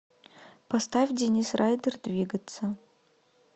поставь денис райдер двигаться